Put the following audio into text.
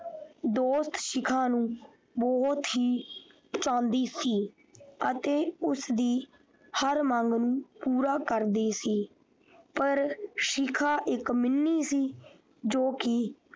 ਦੋਸਤ ਸ਼ਿਖਾ ਨੂੰ ਬਹੁਤ ਹੀ ਚਾਹੁੰਦੀ ਸੀ ਅਤੇ ਉਸਦੀ ਹਰ ਮੰਗ ਨੂੰ ਪੂਰਾ ਕਰਦੀ ਸੀ ਪਰ ਸ਼ਿਖਾ ਇੱਕ ਮਿੰਨੀ ਸੀ ਜੋ ਕਿ।